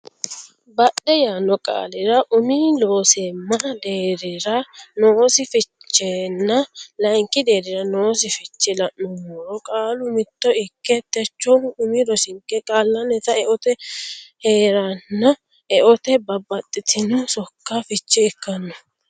badhe yaanno qaalira umi Looseemma deerrira noosi fichenna layinki deerrira noosi fiche la nummoro qaalu mitto ikke Techohu umi rosinke qaallannita eote hee reenna eotenni babbaxxitino sokka fiche ikkanno.